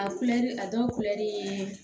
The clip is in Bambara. A kulɛri a dɔw kulɛri